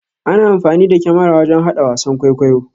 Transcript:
Ana amfani da kamara wajan hada wasan ƙwaikwayo.